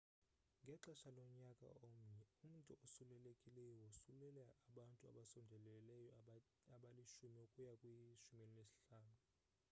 ngexesha lonyaka omnye umntu osulelekileyo wosulela abantu abasondeleyo abali-10 ukuya kwi-15